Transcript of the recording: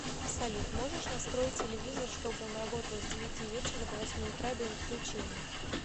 салют можешь настроить телевизор чтобы он работал с девяти вечера до восьми утра без отключения